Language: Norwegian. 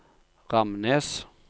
Ramnes